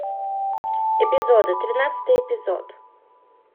эпизоды тринадцатый эпизод